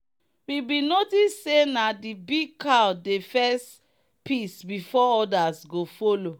we bin notice say na the big cow dey first piss before others go follow.